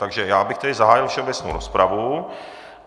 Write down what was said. Takže já bych tedy zahájil všeobecnou rozpravu.